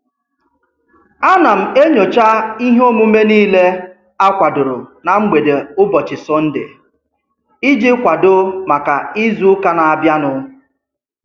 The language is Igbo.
A na m enyocha ihe omume niile akwadoro na mgbede ụbọchị Sọnde iji kwado maka izuụka na-abịa nụ.